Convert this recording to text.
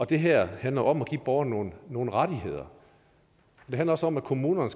det her handler om at give borgerne nogle nogle rettigheder det handler også om at kommunerne